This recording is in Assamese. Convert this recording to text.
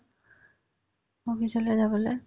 office লে যাবলে